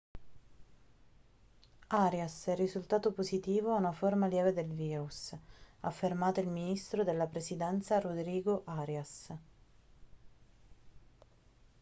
arias è risultato positivo a una forma lieve del virus ha affermato il ministro della presidenza rodrigo arias